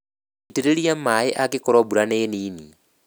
Itĩrĩria maĩĩ angĩkorwo mbura nĩ nini